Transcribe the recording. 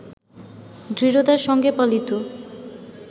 দৃঢ়তার সঙ্গে পালিত